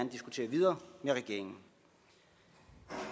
diskutere videre med regeringen